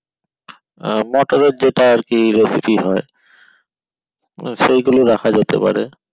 motor এর যেটা আরকি recipe হয় সেই গুলো রাখা যেতে পারে